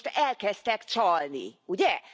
Most elkezdtek csalni, ugye?